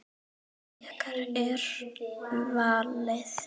Ykkar er valið.